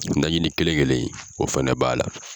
Najini kelen kelen o fɛnɛ b'a la.